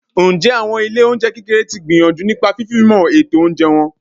Ǹjẹ́ àwọn ilé oúnjẹ kékeré tí ń gbìyànjú nípa fifimo ètò oúnjẹ wọn?